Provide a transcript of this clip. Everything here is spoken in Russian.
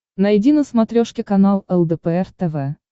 найди на смотрешке канал лдпр тв